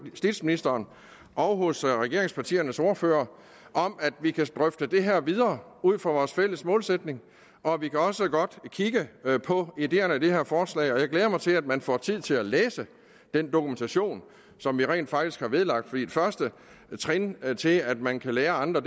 justitsministeren og regeringspartiernes ordførere om at vi kan drøfte det her ud fra vores fælles målsætning og vi kan også godt kigge på ideerne i det her forslag jeg glæder mig til at man får tid til at læse den dokumentation som vi rent faktisk har vedlagt første trin til at man kan lære andre